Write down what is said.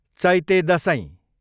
Chaite Dashain